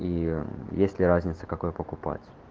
и есть ли разница какой покупать